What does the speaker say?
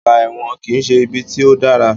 Ọgbà ẹ̀wọ̀n kìí ṣe ibi tí o dára.